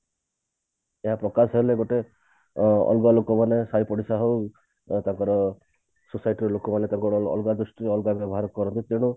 ଏହା ପ୍ରକାଶ ହେଲେ ଗୋଟେ ଅ ଅଲଗା ଲୋକମାନେ ସାଇ ପଡିସା ହଉ ବା ତାଙ୍କର society ଲୋକ ମାନେ ତାଙ୍କର ଅଲଗା ଦୃଷ୍ଟିରୁ ଅଲଗା ବ୍ୟବହାର କରନ୍ତି ତେଣୁ